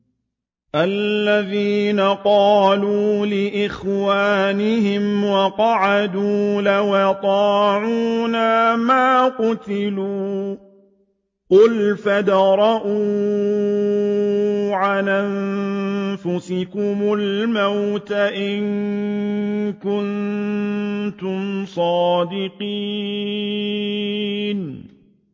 الَّذِينَ قَالُوا لِإِخْوَانِهِمْ وَقَعَدُوا لَوْ أَطَاعُونَا مَا قُتِلُوا ۗ قُلْ فَادْرَءُوا عَنْ أَنفُسِكُمُ الْمَوْتَ إِن كُنتُمْ صَادِقِينَ